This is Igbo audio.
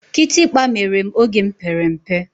Kitikpa mere m oge m pere mpe.